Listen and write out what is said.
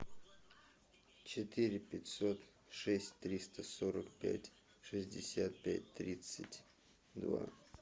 четыре пятьсот шесть триста сорок пять шестьдесят пять тридцать два